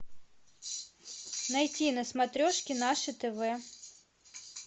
найти на смотрешке наше тв